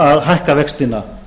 að hækka vextina